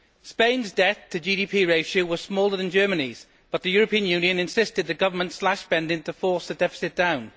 Spain's debt to GDP ratio was smaller than Germany's, but the European Union insisted that the government slash spending to force the deficit down.